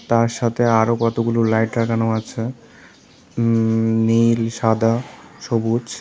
তার সাথে আরও কতগুলো লাইট লাগানো আছে উ নীল সাদা সবুজ।